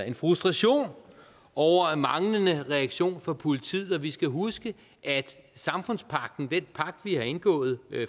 en frustration over manglende reaktion fra politiet og vi skal huske at samfundspagten den pagt vi har indgået